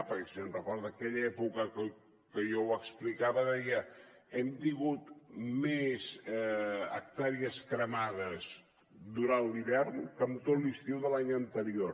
perquè si se’n recorda en aquella època que jo ho explicava deia hem tingut més hectàrees cremades durant l’hivern que en tot l’estiu de l’any anterior